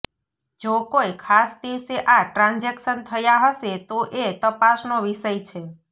જો કોઇ ખાસ દિવસે આ ટ્રાન્જેક્શન થયાં હશે તો એ તપાસનો વિષય છે